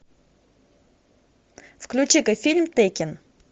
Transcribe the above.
включи ка фильм теккен